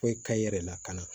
Foyi ka i yɛrɛ lakana